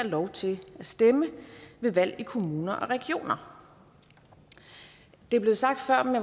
lov til at stemme ved valg i kommuner og regioner det blev sagt før men